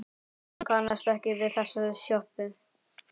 Hann kannast ekki við þessa sjoppu.